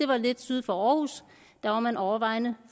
var lidt syd for aarhus der var man overvejende